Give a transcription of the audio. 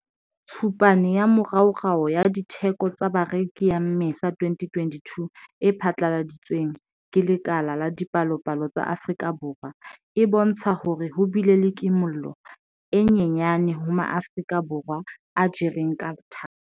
Tshupane ya moraorao ya Ditheko tsa Bareki ya Mmesa 2022 e phatlaladitsweng ke Lekala la Dipalopalo tsa Afrika Borwa e bontsha hore ho bile le kimollo e nyenyane ho Maafrika Borwa a jereng ka thata.